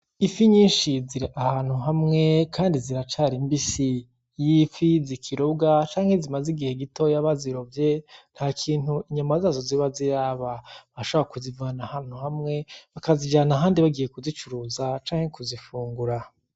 Ifi nyishi ziri ahantu hamwe kandi ziracari mbisi, Iyifi zikirobwa canke zimaze igihe gitoya barirovye ntakintu inyama zazo ziba ziraba urashobora kuzivana ahantu hamwe bakazijana ahandi bagiye kuzicuruza canke kuzifungura.